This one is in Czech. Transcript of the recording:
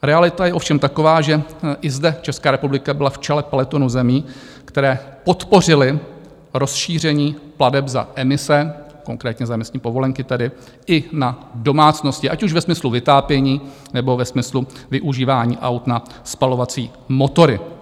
Realita je ovšem taková, že i zde Česká republika byla v čele pelotonu zemí, které podpořily rozšíření plateb za emise, konkrétně za emisní povolenky, tedy i na domácnosti, ať už ve smyslu vytápění, nebo ve smyslu využívání aut na spalovací motory.